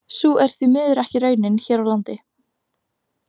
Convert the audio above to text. Sú er því miður ekki raunin hér á landi.